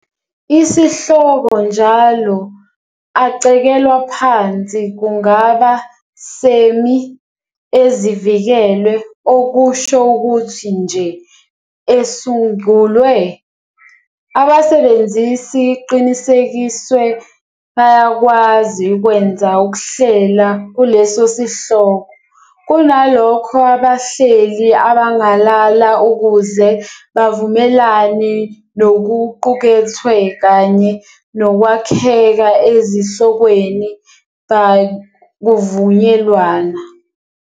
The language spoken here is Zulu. Isihloko njalo acekelwa phansi kungaba Semi-ezivikelwe, okusho ukuthi nje esungulwe, abasebenzisi iqinisekiswe bayakwazi ukwenza ukuhlela kuleso sihloko. Kunalokho, abahleli abangalala ukuze bavumelane nokuqukethwe kanye nokwakheka ezihlokweni by kuvunyelwana.